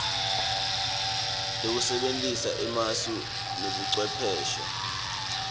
lekusebentisa emasu nebucwepheshe